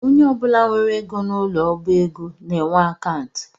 Onye ọbụla nwere ego n’ụlọ ọbaego na-enwe akantụ